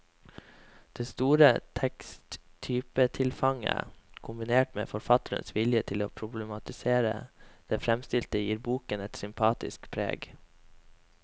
Det store teksttypetilfanget, kombinert med forfatternes vilje til å problematisere det fremstilte, gir boken et sympatisk preg.